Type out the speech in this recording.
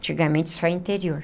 Antigamente só interior.